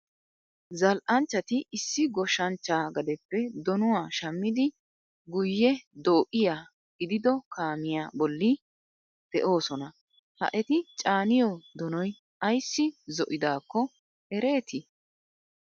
Zal'anchchati issi goshsha chchaa gadeppe donuwa shammidi guyyee do'iya gidido kaamiya bolli de'oosona. Ha eti caaniyo donoy ayissi zo'idaakko ereeti?